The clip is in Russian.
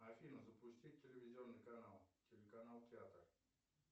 афина запусти телевизионный канал канал театр